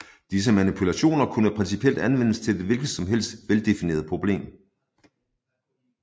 Disse manipulationer kunne principielt anvendes til et hvilket som helst veldefineret problem